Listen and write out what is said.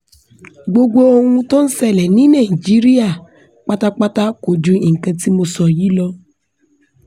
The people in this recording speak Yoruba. gbogbo ohun tó ń ṣẹlẹ̀ ní nàìjíríà pátápátá kò ju nǹkan tí mo sọ yìí lọ